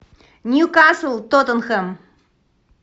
ньюкасл тоттенхэм